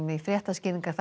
í